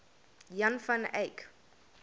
jan van eyck